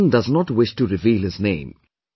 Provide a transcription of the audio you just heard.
The gentleman does not wish to reveal his name